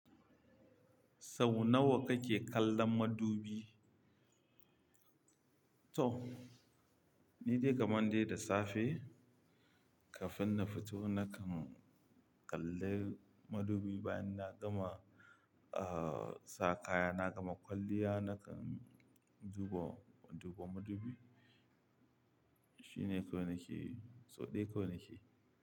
Sau nawa kake kallon madubi? To, ni dai kamar dai da safe kafin na fito nakan kalli madubi bayan na gama, uh, sa kaya na gama kwalliya nakan duba, duba madubi. Shi ne kawai nake, sau ɗaya kawai nake.